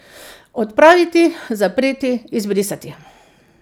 Odpraviti, zapreti, izbrisati.